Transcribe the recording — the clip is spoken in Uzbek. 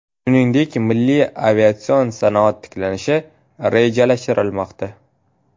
Shuningdek, milliy aviatsion sanoat tiklanishi rejalashtirilmoqda.